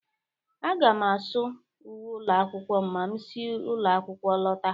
Aga m asụ uwe ụlọ akwụkwọ ma m si ụlọ akwụkwọ lọta.